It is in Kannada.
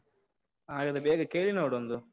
ಹಾ, ಹಾಗಾದ್ರೆ ಬೇಗ ಕೇಳಿ ನೋಡೊಂದು.